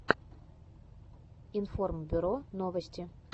информбюро новости